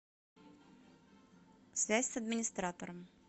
связь с администратором